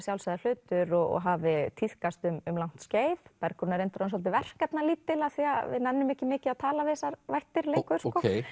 sjálfsagður hlutur og hafi tíðkast um langt skeið Bergrún er reyndar svolítið verkefnalítil af því við nennum ekki mikið að tala við þessar vættir lengur